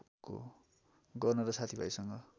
गर्न र साथीभाइसँग